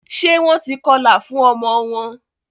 ṣe Wón tí kọla fún omo wón